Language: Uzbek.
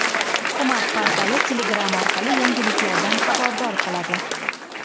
Hukumat portali Telegram orqali yangiliklardan xabardor qiladi .